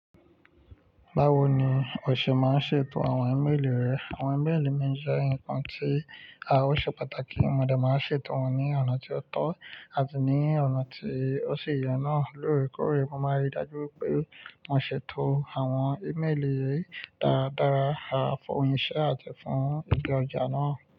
Báwo ni o ṣe máa ń ṣètò àwọn ímeèlì rẹ? Àwọn ímeèlì mí jẹ́ nǹkan tí a ó ṣe pàtàkì. Mo dẹ̀ máa ń ṣètò wọn ní ọ̀nà tí ó tọ́ àti ní ọ̀nà tí ó sì yọ̀n náà lóòrèkóòrè. Mo máa ń ri dájú pé mo ṣètò àwọn ímeèlì yi dáadára, àfọyín iṣẹ́ àti fún ìdí ọjà náà.